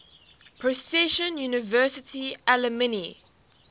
princeton university alumni